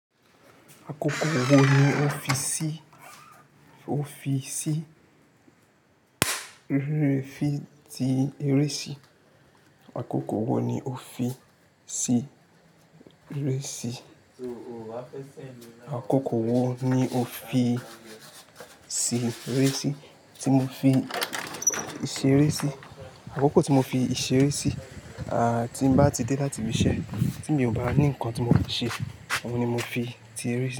Àkókò wo ni o fi ṣí eré sí? Àkókò wo ni o fi ṣí eré sí? Àkókò wo ni o fi ṣí eré sí? Tí mo fi ṣí eré sí. Àkókò tí mo fi iṣẹ́ rẹ́ sí, tí ń bá ti dé láti ibi iṣẹ́ tí mi ò bá ní ǹkan tí mo máa ṣe, ọ̀ún ni mo fi ti eré.